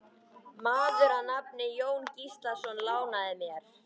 Maður að nafni Jón Gíslason lánaði mér.